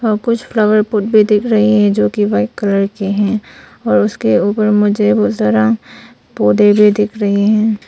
और कुछ flower pot भी दिख रही है जो की वाइट कलर के हैं और उसके ऊपर मुझे वो जरा पौधे भी दिख रहे हैं।